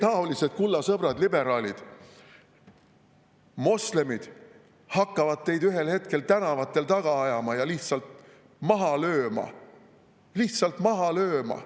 Teietaolisi, kulla sõbrad liberaalid, hakkavad moslemid ühel hetkel tänavatel taga ajama ja lihtsalt maha lööma, lihtsalt maha lööma.